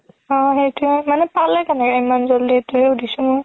অ সেইটোয়ে মানে পালে কেনেকে ইমান জলদি দিছো